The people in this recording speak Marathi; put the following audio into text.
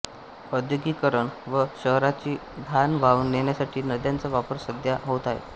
औद्योगिकीकरण व शहरांची घाण वाहून नेण्यासाठी नद्यांचा वापर सध्या होत आहे